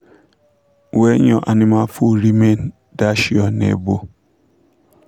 when your animal food remain dash your neighbour